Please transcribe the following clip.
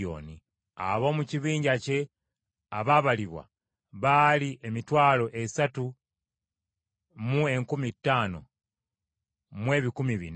Ab’omu kibinja kye abaabalibwa baali emitwalo esatu mu enkumi ttaano mu ebikumi bina (35,400).